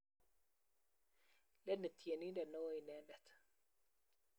leni tyenindet neoo inendet